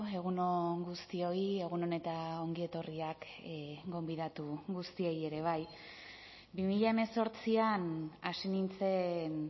egun on guztioi egun on eta ongi etorriak gonbidatu guztiei ere bai bi mila hemezortzian hasi nintzen